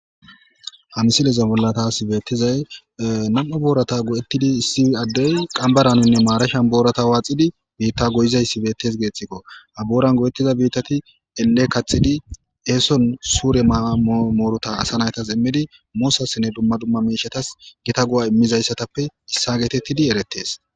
hansileza bollatas beettizay nam7u boorata go7ettidi issi addey qambaraninne maarashan boorata waaxidi biitta goyizayssi beettes geeththikko ha booran go7ettiza biittati elle kaxidi eeson suure maammoorota asa naytas immidi moossassinne dumma dumma miishatas gita gu7a immizayssatappe issa geetettidi erettes